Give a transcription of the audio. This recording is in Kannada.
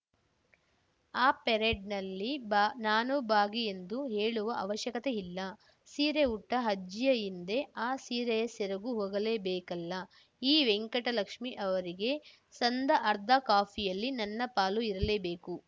ಆ ಪೆರೇಡ್‌ನಲ್ಲಿ ನಾನೂ ಭಾಗಿಯೆಂದು ಹೇಳುವ ಅವಶ್ಯಕತೆಯಿಲ್ಲ ಸೀರೆ ಉಟ್ಟಅಜ್ಜಿಯ ಹಿಂದೆ ಆ ಸೀರೆಯ ಸೆರಗೂ ಹೋಗಲೇಬೇಕಲ್ಲ ಈ ವೆಂಟಕಲಕ್ಷ್ಮಿ ಅವರಿಗೆ ಸಂದ ಅರ್ಧ ಕಾಫಿಯಲ್ಲಿ ನನ್ನ ಪಾಲು ಇರಲೇಬೇಕು